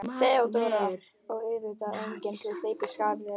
THEODÓRA: Og auðvitað enginn til að hlaupa í skarðið.